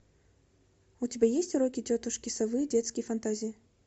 у тебя есть уроки тетушки совы детские фантазии